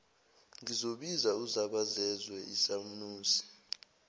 ngiyobiza uzabazezwe isanusi